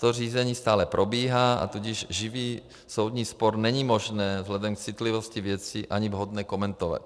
To řízení stále probíhá, a tudíž živý soudní spor není možné vzhledem k citlivosti věcí ani vhodné komentovat.